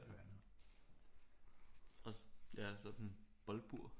Og ja og så sådan et boldbur